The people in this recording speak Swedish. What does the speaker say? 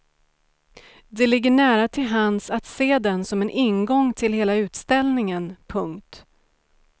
Det ligger nära till hands att se den som en ingång till hela utställningen. punkt